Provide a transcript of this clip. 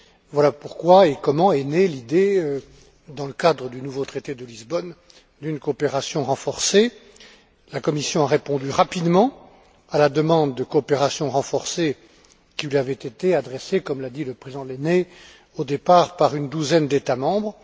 Voilà pourquoi et comment est née l'idée, dans le cadre du nouveau traité de Lisbonne, d'une coopération renforcée. La Commission a répondu rapidement à la demande de coopération renforcée qui lui avait été adressée au départ, comme l'a dit le président Lehne, par une douzaine d'États membres.